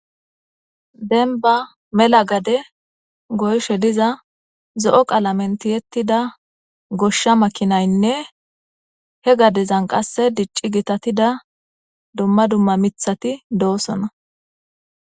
Demibba mela gadeni goyishe diza zo'o qalameni tiyetidda gosha makinayinne he gadezani dicci gitatida duma duma mithati dossona